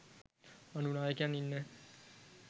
අනු නායකයන් ඉන්න